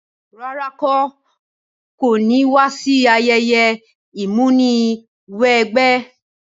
Rárá, n ko ni wa si ayẹyẹ ìmúniwẹgbẹ́